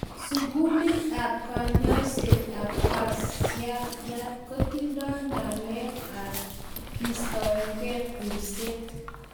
Sugulit ap kanyaiset ap kansayat kotindoi ng'alek ap keistoekei kulset